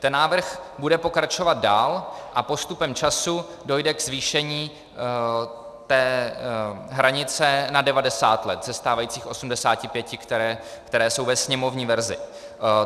Ten návrh bude pokračovat dál a postupem času dojde k zvýšení té hranice na 90 let ze stávajících 85, které jsou ve sněmovní verzi.